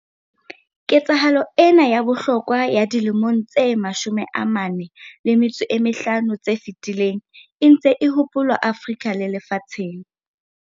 Ketsahalo ena ya bohlokwa ya dilemong tse 45 tse fetileng e ntse e hopolwa Afrika le lefatsheng.